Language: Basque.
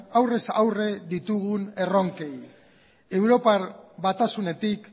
aurrez aurre ditugun erronkei europar batasunetik